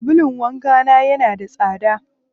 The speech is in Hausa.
Sabulun wanka na yana da tsada.